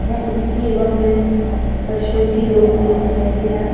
यह स्त्री एवं प्र प्रसूति रोग विशेषज्ञ है।